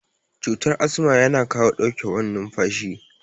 Cutar asma yana kawo ɗauke wan numfashi